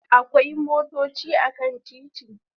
Akwai motochi a kan titi